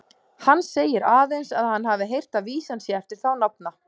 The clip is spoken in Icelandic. Hann segir aðeins, að hann hafi heyrt að vísan sé eftir þá nafna.